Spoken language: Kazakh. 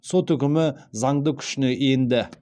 сот үкімі заңды күшіне енді